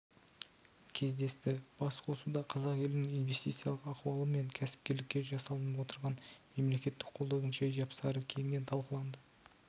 кездесті басқосуда қазақ елінің инвестициялық ахуалы мен кәсіпкерлікке жасалынып отырған мемлекеттік қолдаудың жай-жапсары кеңінен талқыланды